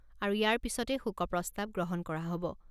হ'ব আৰু ইয়াৰ পিছতে শোকপ্ৰস্তাৱ গ্ৰহণ কৰা হ'ব।